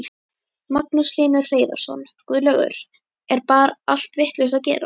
Magnús Hlynur Hreiðarsson: Guðlaugur, er bar allt vitlaust að gera?